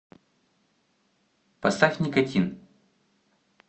поставь никотин